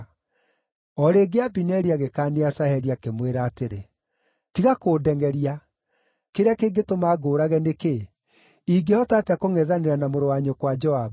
O rĩngĩ, Abineri agĩkaania Asaheli, akĩmwĩra atĩrĩ, “Tiga kũndengʼeria! Kĩrĩa kĩngĩtũma ngũũrage, nĩ kĩĩ? Ingĩhota atĩa kũngʼethanĩra na mũrũ wa nyũkwa Joabu?”